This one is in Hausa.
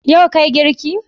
Yau ka Yi girki?